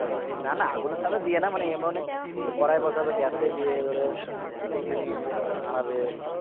না না আগুনের সামনে দিয়ে না মানে এমনি সে কড়াই বসাবে gas এ দিয়ে ধরে খুন্তি নিয়ে নাড়াবে